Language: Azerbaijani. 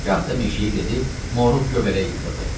Gah da meşəyə gedib moruq göbələyi yığırdı.